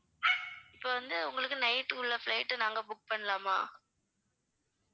இப்ப வந்து உங்களுக்கு night க்கு உள்ள flight நாங்க book பண்னலாமா?